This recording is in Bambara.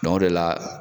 o de la